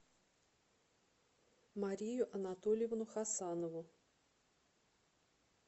марию анатольевну хасанову